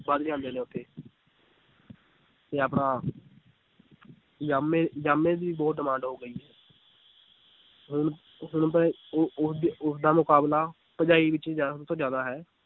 ਵੱਧ ਜਾਂਦੇ ਨੇ ਉੱਥੇ ਤੇ ਆਪਣਾ ਜਾਮੇ ਜਾਮੇ ਦੀ ਬਹੁਤ demand ਹੋ ਗਈ ਹੈ ਹੁਣ ਹੁਣ ਤਾਂ ਇਹ ਉਹ ਉਹਦੀ ਉਹਦਾ ਮੁਕਾਬਲਾ ਤੋਂ ਜ਼ਿਆਦਾ ਹੈ